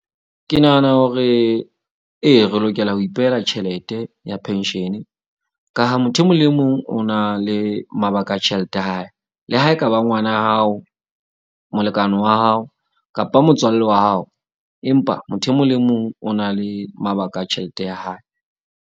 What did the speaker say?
Ke nahana hore ee, re lokela ho ipehela tjhelete ya pension-e. Ka ha motho e mong le mong o na le mabaka a tjhelete ya hae. Le ha ekaba ngwana hao, molekane wa hao kapa motswalle wa hao. Empa motho e mong le mong o na le mabaka a tjhelete ya hae.